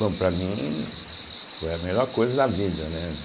Bom, para mim foi a melhor coisa da vida, né?